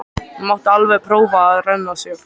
Hún mátti alveg prófa að renna sér.